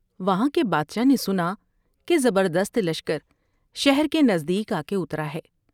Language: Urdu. وہاں کے بادشاہ نے سنا کہ زبردست لشکر شہر کے نزدیک آ کے اترا ہے ۔